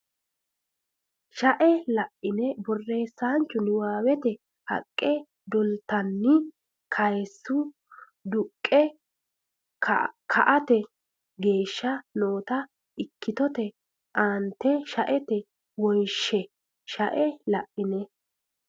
shae la ine borreessaanchu niwaawete haqqe dolatenni kayse duqqe ka ate geeshsha noota ikkitote aante shaete wonshe shae la ine.